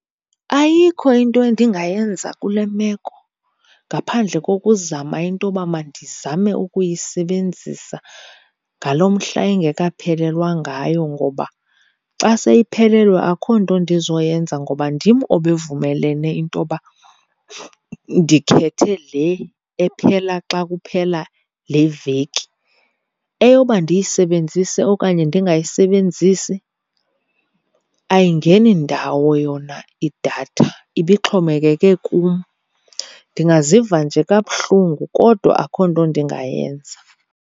Ayikho into endingayenza kule meko ngaphandle kokuzama into yoba mandizame ukuyisebenzisa ngalo mhla ingekaphelelwa ngayo. Ngoba xa seyiphelelwe akho nto ndizoyenza ngoba ndim obevumelene into yoba ndikhethe le ephela xa kuphela le veki. Eyoba ndiyisebenzise okanye ndingayisebenzisi ayingeni ndawo yona idatha, ibixhomekeke kum. Ndingaziva nje kabuhlungu, kodwa akho nto ndingayenza.